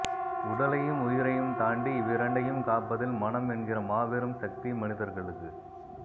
உடலையும் உயிரையும் தாண்டி இவ்விரண்டையும் காப்பதில் மனம் என்கிற மாபெரும் சக்தி மனிதர்களுக்கு